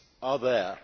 are there.